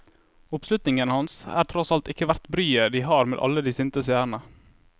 Oppslutningen hans er tross alt ikke verdt bryet de har med alle de sinte seerne.